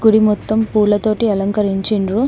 గుడి మొత్తం పూలతోటి అలంకరించిండ్రు.